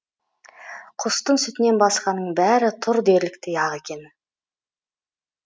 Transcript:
құстың сүтінен басқаның бәрі тұр дерліктей ақ екен